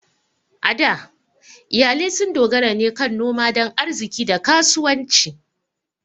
A da, iyalai sun dogara ne kan noma don arziƙi da kasuwanci.